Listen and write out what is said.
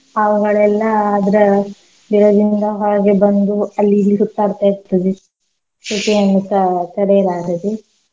ಹಾವ್ಗಳೆಲ್ಲ ಅದ್ರ ಬಿಲದಿಂದ ಹೊರಗೆ ಬಂದು ಅಲ್ಲಿ ಇಲ್ಲಿ ಸುತ್ತಾಡ್ತ ಇರ್ತದೆ. ಸೆಖೆಯನ್ನುಸ ತಡೆಯಲಾಗದೆ.